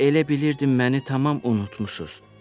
Yoxsa elə bilirdin məni tamam unutmursunuz?